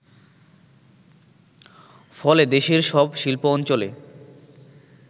ফলে দেশের সব শিল্প অঞ্চলে